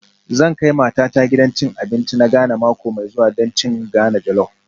Zan kai matata gidan cin abinci na Ghana mako mai zuwa don cin Ghana jollop